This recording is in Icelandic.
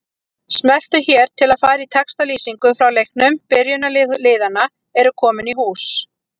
Smelltu hér til að fara í textalýsingu frá leiknum Byrjunarlið liðanna eru komin í hús.